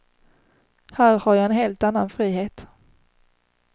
Här har jag en helt annan frihet.